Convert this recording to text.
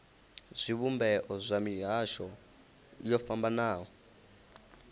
zwivhumbeo zwa mihasho yo fhambanaho